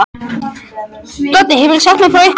Doddi hefur sagt mér frá ykkur.